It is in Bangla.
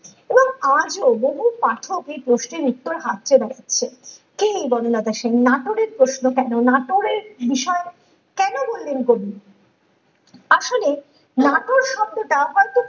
তো আজও বহু পাঠক এই প্রশ্নের উত্তর ভাবতে পেরেছে ।কে এই বনলতা সেন নাটোরের প্রশ্ন কেন নাটোরের বিষয় কেন বললেন কবি আসলে নাটোর শব্দটা